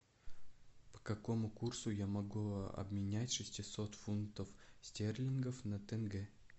по какому курсу я могу обменять шестьсот фунтов стерлингов на тенге